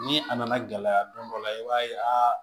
Ni a nana gɛlɛya don dɔ la i b'a ye aa